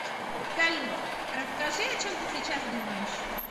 салют расскажи о чем ты сейчас думаешь